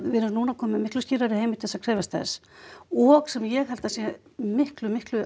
við erum núna komin með miklu skýrari heimild til að krefjast þess og sem ég held að sé miklu miklu